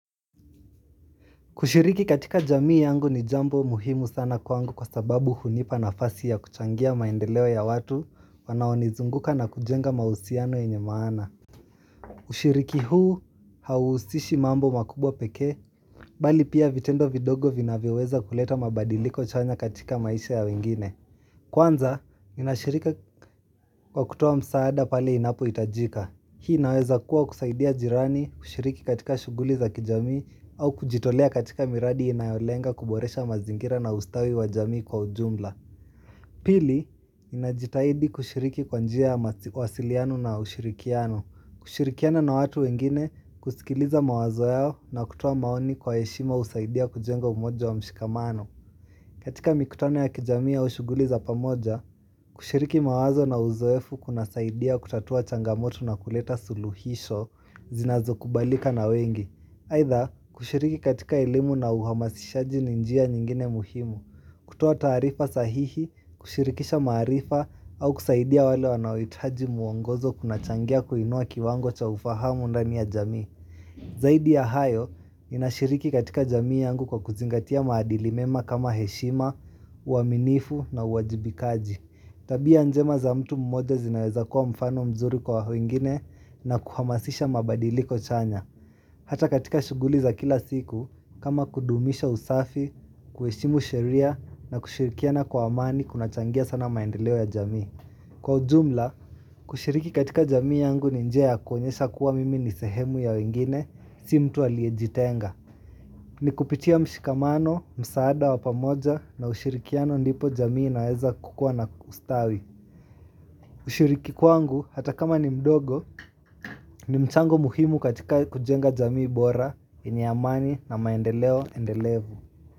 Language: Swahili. Kushiriki katika jamii yangu ni jambo muhimu sana kwangu kwa sababu hunipa na fasi ya kuchangia maendeleo ya watu wanaonizunguka na kujenga mausiano enye maana. Ushiriki huu hausishi mambo makubwa pekee, bali pia vitendo vidogo vinavyoweza kuleta mabadiliko chanya katika maisha ya wengine. Kwanza, ninashirika kwa kutoa msaada pale inapo itajika. Hii inaweza kuwa kusaidia jirani kushiriki katika shuguli za kijamii au kujitolea katika miradi inayolenga kuboresha mazingira na ustawi wa jamii kwa ujumla. Pili, ninajitahidi kushiriki kwa njia wasiliano na ushirikiano. Kushirikiana na watu wengine kusikiliza mawazo yao na kutoa maoni kwa yeshima usaidia kujengo umoja wa mshikamano. Katika mikutano ya kijamii au shuguli za pamoja, kushiriki mawazo na uzoefu kuna saidia kutatua changamoto na kuleta suluhisho zinazo kubalika na wengi. Either kushiriki katika elimu na uhamasishaji ninjia nyingine muhimu, kutoa taarifa sahihi, kushirikisha maarifa, au kusaidia wale wanaoitaji muongozo kuna changia kuinua kiwango cha ufahamu ndani ya jamii. Zaidi ya hayo, ninashiriki katika jamii yangu kwa kuzingatia maadili mema kama heshima, uaminifu na uwajibikaji. Tabia njema za mtu mmoja zinaweza kuwa mfano mzuri kwa wengine na kuhamasisha mabadili kochanya. Hata katika shuguli za kila siku, kama kudumisha usafi, kueshimu sheria na kushirikia na kwa amani kuna changia sana maendeleo ya jamii. Kwa ujumla, kushiriki katika jamii yangu ni njia ya kuonyesha kuwa mimi nisehemu ya wengine, si mtu aliejitenga. Ni kupitia mshikamano, msaada wapamoja na ushirikiano ndipo jamii inaweza kukua na ustawi. Ushiriki kwangu, hata kama ni mdogo, ni mchango muhimu katika kujenga jamii bora, yenye amani na maendeleo endelevu.